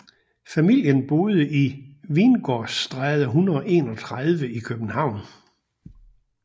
Familien boede i Vingårdstræde 131 i København